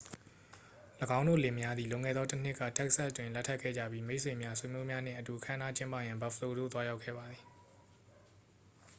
၎င်းတို့လင်မယားသည် လွန်ခဲ့သောတစ်နှစ်က texas တွင် လက်ထပ်ခဲ့ကြပြီး မိတ်ဆွေများ ဆွေမျိုးများနှင့်အတူ အခမ်းအနားကျင်းပရန် buffalo သို့ရောက်လာခဲ့ပါသည်